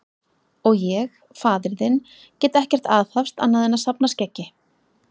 Og ég, faðir þinn, get ekkert aðhafst annað en að safna skeggi.